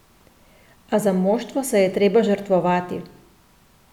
A za moštvo se je treba žrtvovati.